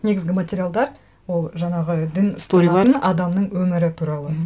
негізгі материалдар ол жаңағы дін сторилар адамның өмірі туралы